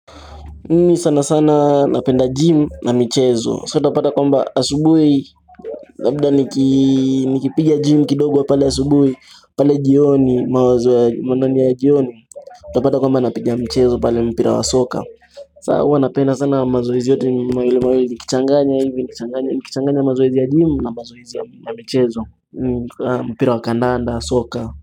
Mi sana sana napenda gym na michezo, so utapata kwamba asubui, labda nikipiga gym kidogo pale asubui, pale jioni, mawazo ya jioni, utapata kwamba napiga michezo pale mpira wa soka, saa hua napenda sana mazoezi yote ni mawili mawili nikichanganya hivi nikichanganya mazoezi ya gym na mazoezi ya michezo, mpira wa kandanda, soka.